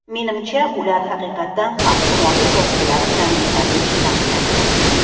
Menimcha, ular haqiqatan ham himoya vositalari bilan yetarlicha ta’minlanmayapti.